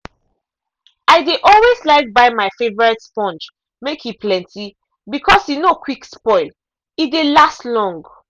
i de always like buy my favourite sponge make e plenty because e no quick spoil e dey last long.